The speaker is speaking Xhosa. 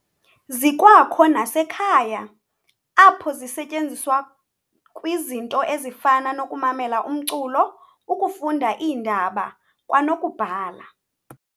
Zikwakho nasekhaya, apho zisetyenziswa kwizinto ezifana nokumamela umculo, ukufunda iindaba, kwanokubhala.